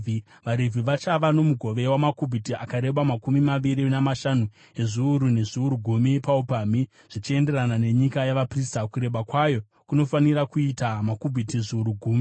“VaRevhi vachava nomugove wamakubhiti akareba makumi maviri namashanu ezviuru nezviuru gumi paupamhi, zvichienderana nenyika yavaprista. Kureba kwayo kunofanira kuita makubhiti zviuru gumi.